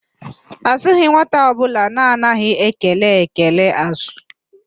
Azụghị nwata ọbụla na-anaghị ekele ekele ázụ́